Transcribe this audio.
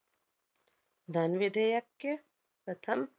धनविधेयक्के प्रथम